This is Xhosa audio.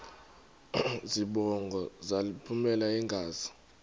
zibongo zazlphllmela engazi